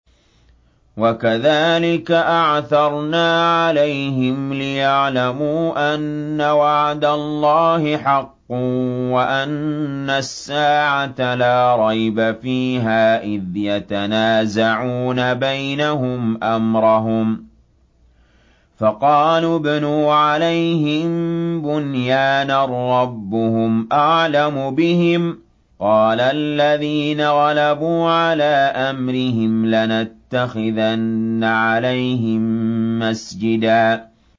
وَكَذَٰلِكَ أَعْثَرْنَا عَلَيْهِمْ لِيَعْلَمُوا أَنَّ وَعْدَ اللَّهِ حَقٌّ وَأَنَّ السَّاعَةَ لَا رَيْبَ فِيهَا إِذْ يَتَنَازَعُونَ بَيْنَهُمْ أَمْرَهُمْ ۖ فَقَالُوا ابْنُوا عَلَيْهِم بُنْيَانًا ۖ رَّبُّهُمْ أَعْلَمُ بِهِمْ ۚ قَالَ الَّذِينَ غَلَبُوا عَلَىٰ أَمْرِهِمْ لَنَتَّخِذَنَّ عَلَيْهِم مَّسْجِدًا